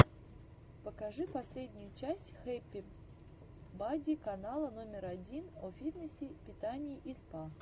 покажи последнюю часть хэппи бади канала номер один о фитнесе питании и спа